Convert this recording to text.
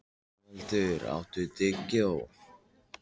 Gunnvaldur, áttu tyggjó?